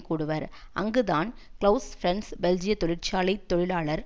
கூடுவர் அங்குத்தான் கிளவுஸ் பிரன்ஸ் பெல்ஜிய தொழிற்சாலை தொழிலாளர்